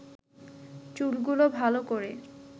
চুলগুলো ভালো করে